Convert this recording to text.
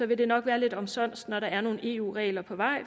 vil det nok være lidt omsonst når der er nogle eu regler på vej